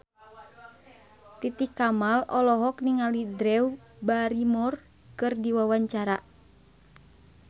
Titi Kamal olohok ningali Drew Barrymore keur diwawancara